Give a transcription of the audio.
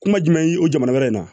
Kuma jumɛn ye o jamana in na